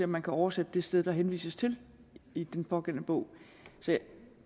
man kan oversætte det sted der henvises til i den pågældende bog så